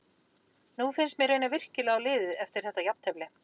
Nú finnst mér reyna virkilega á liðið eftir þetta jafntefli.